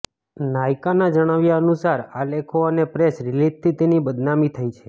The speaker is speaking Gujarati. નાઈકના જણાવ્યા અનુસાર આ લેખો અને પ્રેસ રિલીજથી તેની બદનામી થઈ છે